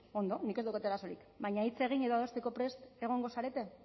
ondo nik ez daukat arazorik baina hitz egin edo adosteko prest egongo zarete